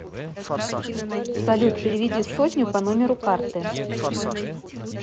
салют переведи сотню по номеру карты